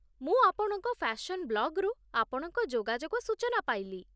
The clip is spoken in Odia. ମୁଁ ଆପଣଙ୍କ ଫ୍ୟାସନ୍ ବ୍ଲଗ୍‌ରୁ ଆପଣଙ୍କ ଯୋଗାଯୋଗ ସୂଚନା ପାଇଲି